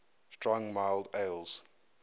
strong mild ales